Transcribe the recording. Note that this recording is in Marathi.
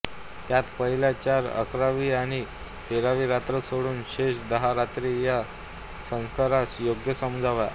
त्यांत पहिल्या चार अकरावी आणि तेरावी रात्र सोडून शेष दहा रात्री या संस्कारास योग्य समजाव्या